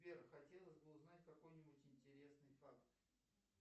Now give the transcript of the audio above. сбер хотелось бы узнать какой нибудь интересный факт